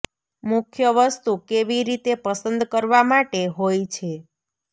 મુખ્ય વસ્તુ કેવી રીતે પસંદ કરવા માટે હોય છે